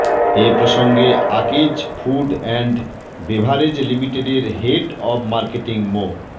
এ প্রসঙ্গে Akij food and beverage লিমিটেডের head of marketing Md